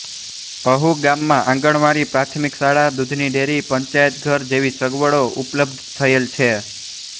અહુ ગામમાં આંગણવાડી પ્રાથમિક શાળા દૂધની ડેરી પંચાયતઘર જેવી સગવડો ઉપલબ્ધ થયેલ છે